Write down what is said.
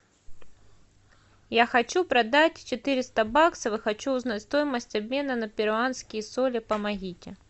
я хочу продать четыреста баксов и хочу узнать стоимость обмена на перуанские соли помогите